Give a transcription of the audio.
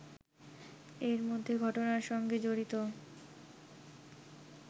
এর মধ্যে ঘটনার সঙ্গে জড়িত